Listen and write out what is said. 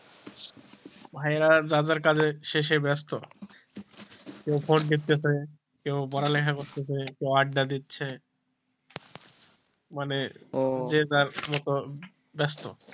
ভাইরা দাদার কাজের শেষে ব্যস্ত কেও phone দেখতেছে কেও পড়ালেখা করতাছে, কেউ আড্ডা দিচ্ছে মানে যার মত ব্যস্ত,